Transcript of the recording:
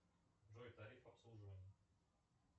джой тариф обслуживания